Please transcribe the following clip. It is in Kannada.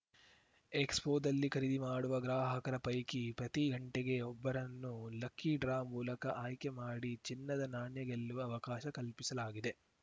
ಎಕ್ಸ್‌ಪೋದಲ್ಲಿ ಖರೀದಿ ಮಾಡುವ ಗ್ರಾಹಕರ ಪೈಕಿ ಪ್ರತಿ ಗಂಟೆಗೆ ಒಬ್ಬರನ್ನು ಲಕ್ಕಿ ಡ್ರಾ ಮೂಲಕ ಆಯ್ಕೆ ಮಾಡಿ ಚಿನ್ನದ ನಾಣ್ಯ ಗೆಲ್ಲುವ ಅವಕಾಶ ಕಲ್ಪಿಸಲಾಗಿದೆ